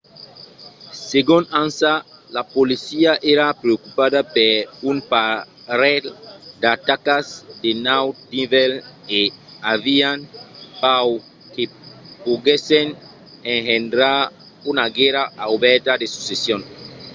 segon ansa la polícia èra preocupada per un parelh d'atacas de naut nivèl e avián paur que poguèssen engendrar una guèrra obèrta de succession